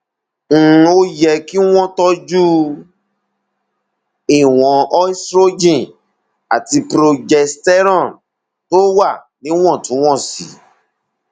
um ó yẹ kí wọn tọjú ìwọn estrogen àti progesterone tó wà níwọntúnwọnsì